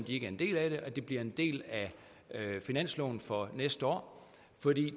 ikke er en del af det at det bliver en del af finansloven for næste år